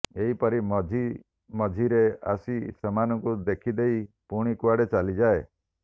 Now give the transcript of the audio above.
ଏହିପରି ମଝି ମଝିରେ ଆସି ସେମାନଙ୍କୁ ଦେଖିଦେଇ ପୁଣି କୁଆଡ଼େ ଚାଲିଯାଏ